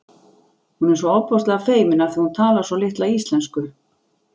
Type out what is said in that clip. Hún er svo ofboðslega feimin af því að hún talar svo litla íslensku